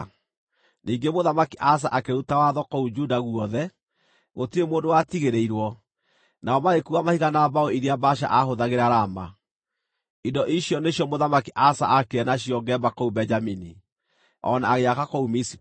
Ningĩ Mũthamaki Asa akĩruta watho kũu Juda guothe, gũtirĩ mũndũ watigĩrĩirwo, nao magĩkuua mahiga na mbaũ iria Baasha aahũthagĩra Rama. Indo icio nĩcio Mũthamaki Asa aakire nacio Geba kũu Benjamini, o na agĩaka kũu Mizipa.